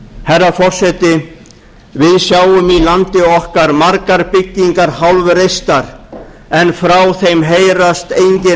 herra forseti við sjáum í landi okkar margar byggingar hálfreistar en frá þeim heyrast engin